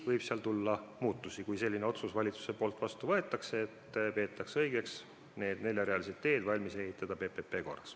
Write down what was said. Võib tulla muutusi, kui valitsus võtab vastu otsuse, et õige oleks need neljarealised teed valmis ehitada PPP korras.